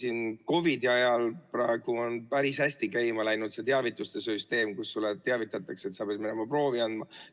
Praegu COVID‑i ajal on päris hästi käima läinud teavituste süsteem, sulle teatatakse, et sa pead minema proovi andma.